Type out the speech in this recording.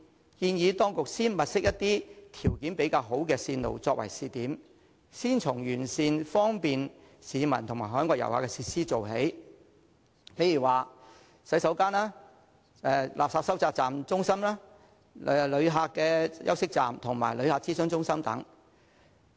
我建議當局先物色一些條件較好的線路作為試點，先從完善方便市民和海外旅客的設施做起，例如洗手間、垃圾收集中心、旅客休息站和旅客諮詢中心等。